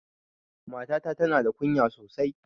Matata ta na da kunya sosai